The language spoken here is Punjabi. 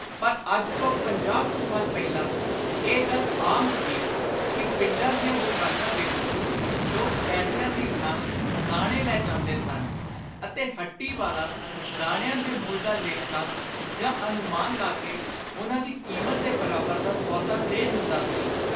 ਪਰ ਅੱਜ ਤੋਂ ਪੰਜਾਹ ਕੁ ਸਾਲ ਪਹਿਲਾਂ ਇਹ ਗੱਲ ਆਮ ਸੀ ਕਿ ਪਿੰਡਾਂ ਦੀਆਂ ਦੁਕਾਨਾਂ ਵਿਚ ਲੋਕ ਪੈਸਿਆਂ ਦੀ ਥਾਂ ਦਾਣੇ ਲੈ ਜਾਂਦੇ ਸਨ ਅਤੇ ਹੱਟੀ ਵਾਲਾ ਦਾਣਿਆਂ ਦੇ ਮੁੱਲ ਦਾ ਲੇਖਾ ਜਾਂ ਅਨੁਮਾਨ ਲਾ ਕੇ ਉਨ੍ਹਾਂ ਦੀ ਕੀਮਤ ਦੇ ਬਰਾਬਰ ਦਾ ਸੌਦਾ ਦੇ ਦਿੰਦਾ ਸੀ।